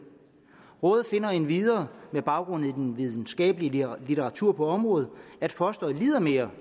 rådet finder endvidere med baggrund i den videnskabelige litteratur på området at fosteret lider mere